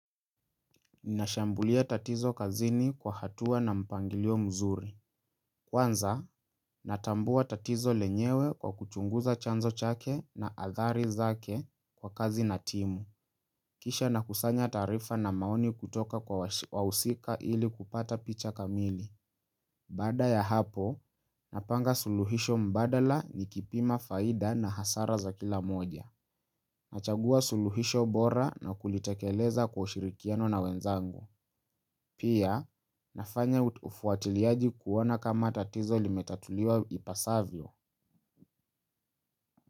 Ninashambulia tatizo kazini kwa hatua na mpangilio mzuri. Kwanza, natambua tatizo lenyewe kwa kuchunguza chanzo chake na athari zake kwa kazi na timu. Kisha nakusanya taarifa na maoni kutoka kwa wausika ili kupata picha kamili. Baada ya hapo, napanga suluhisho mbadala nikipima faida na hasara za kila moja. Nachagua suluhisho bora na kulitekeleza kwa ushirikiano na wenzangu. Pia, nafanya ufuatiliaji kuona kama tatizo limetatuliwa ipasavyo.